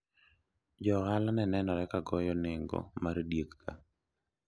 jo ohala ne nenore ka goyo nengo mar diegka